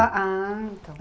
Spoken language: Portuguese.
Ah, ah então.